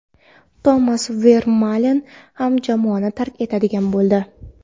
Tomas Vermalen ham jamoani tark etadigan bo‘ldi.